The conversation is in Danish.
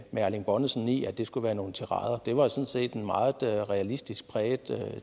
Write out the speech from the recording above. med erling bonnesen i at det skulle være nogle tirader det var sådan set en meget realistisk præget